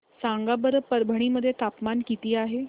सांगा बरं परभणी मध्ये तापमान किती आहे